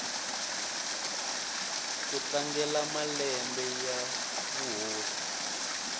ku tlangela malembe ya vuhosi